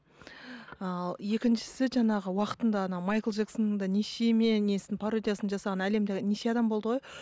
ал екіншісі жаңағы уақытында ана майкл джексонның да несін пародиясын жасаған әлемде неше адам болды ғой